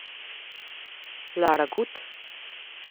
Lara Gut?